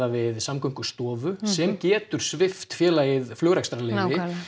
við Samgöngustofu sem getur svipt félagið flugrekstrarleyfi